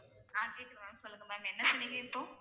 ஆஹ் கேக்குது ma'am சொல்லுங்க ma'am என்ன சொன்னீங்க இப்போ?